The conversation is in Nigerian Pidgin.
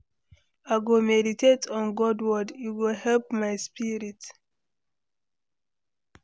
I go meditate on God word, e go help my spirit.